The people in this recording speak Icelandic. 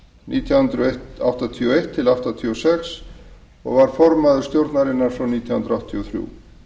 nítján hundruð áttatíu og eitt til nítján hundruð áttatíu og sex formaður stjórnarinnar frá nítján hundruð áttatíu og þrjú